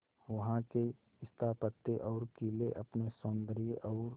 वहां के स्थापत्य और किले अपने सौंदर्य और